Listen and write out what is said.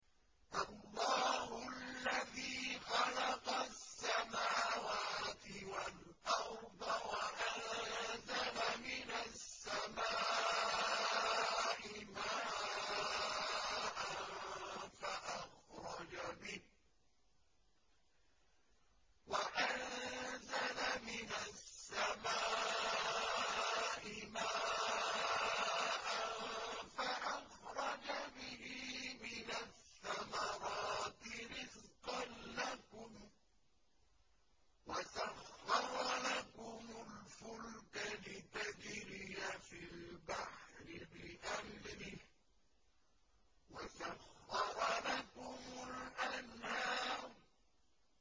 اللَّهُ الَّذِي خَلَقَ السَّمَاوَاتِ وَالْأَرْضَ وَأَنزَلَ مِنَ السَّمَاءِ مَاءً فَأَخْرَجَ بِهِ مِنَ الثَّمَرَاتِ رِزْقًا لَّكُمْ ۖ وَسَخَّرَ لَكُمُ الْفُلْكَ لِتَجْرِيَ فِي الْبَحْرِ بِأَمْرِهِ ۖ وَسَخَّرَ لَكُمُ الْأَنْهَارَ